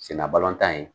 Senna balɔntan ye